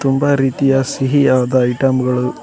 ತುಂಬ ರೀತಿಯ ಸಿಹಿಯಾದ ಐಟಂ ಗಳು--